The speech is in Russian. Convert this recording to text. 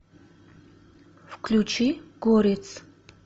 включи горец